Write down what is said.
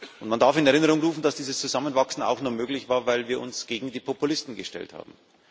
und man darf in Erinnerung rufen, dass dieses Zusammenwachsen auch nur möglich war, weil wir uns gegen die Populisten gestellt haben.